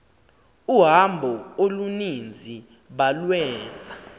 uhambo oluninzi balwenza